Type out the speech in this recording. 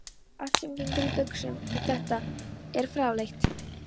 Allt sem gengur í buxum, en þetta er fráleitt.